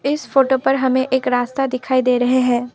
इस फोटो पर हमें एक रास्ता दिखाई दे रहे हैं।